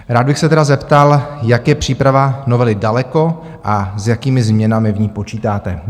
Rád bych se tedy zeptal, jak je příprava novely daleko a s jakými změnami v ní počítáte?